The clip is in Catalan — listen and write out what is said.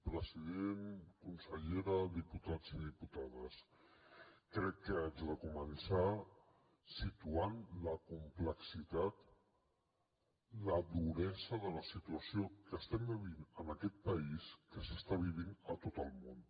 president consellera diputats i diputades crec que haig de començar situant la complexitat la duresa de la situació que estem vivint en aquest país que s’està vivint a tot el món